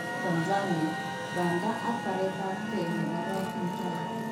Tanzania:Banda ak baretab ge nebo Rob Mutai